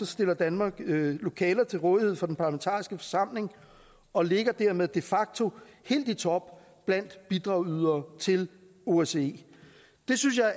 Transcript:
stiller danmark lokaler til rådighed for den parlamentariske forsamling og ligger dermed de facto helt i top blandt bidragydere til osce det synes jeg